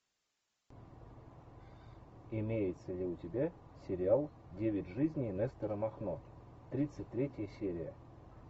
имеется ли у тебя сериал девять жизней нестора махно тридцать третья серия